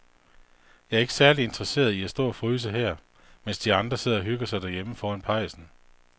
Jeg er ikke særlig interesseret i at stå og fryse her, mens de andre sidder og hygger sig derhjemme foran pejsen.